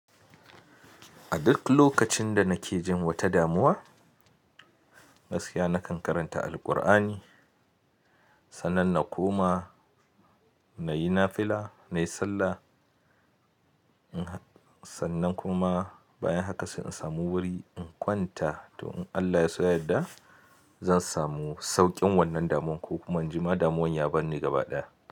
A duk lokacin da nake jin wata damuwa, gaskiya nakan karanta Alqur'ani, sannan na koma na yi nafila, na yi sallah, sannan kuma bayan haka sai in samu wuri in kwanta. To in Allah ya so yadda zan samu sauƙin wannan damuwan ko kuma an jima damuwann ya bar ni gaba ɗaya.